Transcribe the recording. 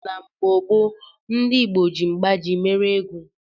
Na mgbo gbo ndi igbo ji mgbaji mere ego